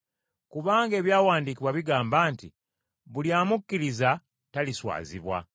Kubanga Ebyawandiikibwa bigamba nti, “Buli amukkiriza taliswazibwa.”